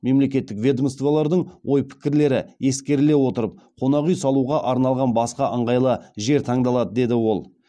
мемлекеттік ведомстволардың ой пікірлері ескеріле отырып қонақ үй салуға арналған басқа ыңғайлы жер таңдалады деді ол